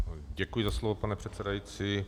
Děkuji za slovo, pane předsedající.